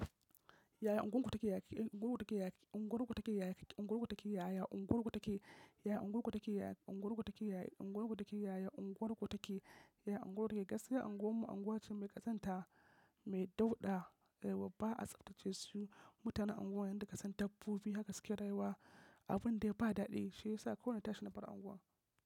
Yaya unguwan ku take, unguwarku take yaya, unguwarku take yaya, unguwarku take yaya, unguwarku take yaya, unguwarku take yaya, unguwarku take yaya, unguwarku take yaya, unguwarku take yaya. Gaskiya unguwarmu unguwa ce mai ƙazanta, mai dauɗa, yawwa ba a tsaftace su. Mutanen unguwan yanda kasan dabbobi haka suke rayuwa. Abun dai ba daɗi shiyasa kawai na tashi na bar unguwar.